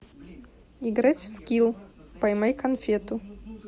играть в скилл поймай конфету